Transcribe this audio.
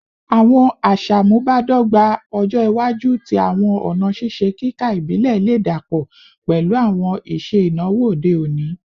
Awọn aṣamubadọgba ọjọ iwaju ti awọn ọna ṣiṣe kika ibile le dapọ pẹlu awọn iṣe inawo ode oni